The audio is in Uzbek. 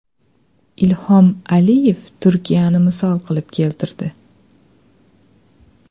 Ilhom Aliyev Turkiyani misol qilib keltirdi.